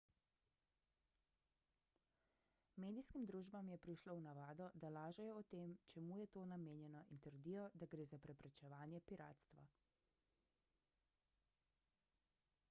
medijskim družbam je prišlo v navado da lažejo o tem čemu je to namenjeno in trdijo da gre za preprečevanje piratstva